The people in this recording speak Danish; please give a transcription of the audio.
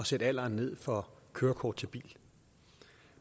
sætte alderen ned for kørekort til bil